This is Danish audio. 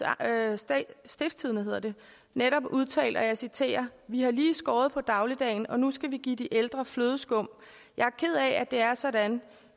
stiftstidende netop udtalt og jeg citerer vi har lige skåret på dagligdagen og nu skal vi give de ældre flødeskum jeg er ked af at det er sådan